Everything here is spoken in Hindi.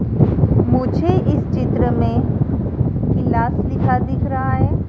मुझे इस चित्र में कीलास लिखा दिख रहा है।